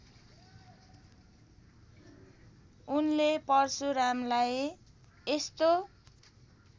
उनले परशुरामलाई यस्तो